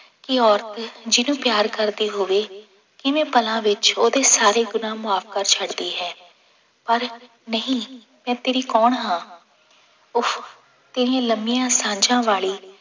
ਕਿ ਔਰਤ ਜਿਹਨੂੰ ਪਿਆਰ ਕਰਦੀ ਹੋਵੇ ਕਿਵੇਂ ਪਲਾਂ ਵਿੱਚ ਉਹਦੇ ਸਾਰੇ ਗੁਨਾਂਹ ਮਾਫ਼ ਕਰ ਛੱਡਦੀ ਹੈ, ਪਰ ਨਹੀਂ ਮੈਂ ਤੇਰੀ ਕੌਣ ਹਾਂ, ਉਫ਼ ਤੇਰੀਆਂ ਲੰਮੀਆਂ ਸਾਂਝਾਂ ਵਾਲੀ